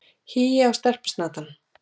Hí á stelpusnatann!